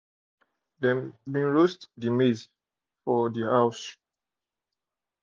dem roast dey maize for house